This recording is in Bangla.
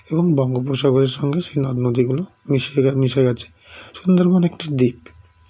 এবং বঙ্গোপসাগরের সঙ্গে সে নদনদী গুলো মিশেগে মিশে গেছে সুন্দরবন একটি দ্বীপ